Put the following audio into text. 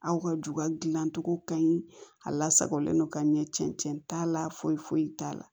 Aw ka juga dilancogo ka ɲi a la sagolen don ka ɲɛ cɛncɛn t'a la foyi foyi t'a la